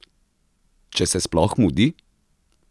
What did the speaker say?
Če se sploh mudi?